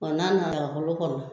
n'a nana olu kɔnɔ.